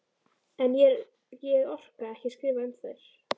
En ég orka ekki að skrifa um þær.